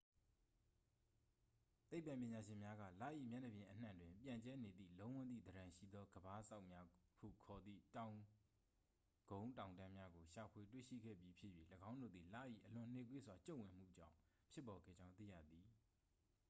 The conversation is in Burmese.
သိပ္ပံပညာရှင်များက လ၏ မျက်နှာပြင်အနှံ့တွင် ပြန့်ကျဲနေသည့် လုံးဝန်းသည့်သဏ္ဍန်ရှိသော ကမ်းပါးစောက်များဟုခေါ်သည့် တောင်ကုန်းတောင်တန်းများကို ရှာဖွေတွေ့ရှိခဲ့ပြီးဖြစ်၍ ၎င်းတို့သည် လ၏ အလွန်နှေးကွေးစွာ ကျုံ့ဝင်မှုကြောင်း ဖြစ်ပေါ်ခဲ့ကြောင်း သိရသည်